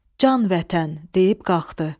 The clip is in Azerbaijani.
Can vətən deyib qalxdı.